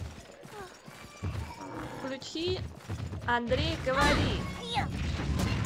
включи андрей говори